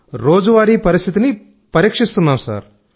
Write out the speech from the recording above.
రోజువారీ పరిస్థితిని పరీక్షిస్తున్నాం సార్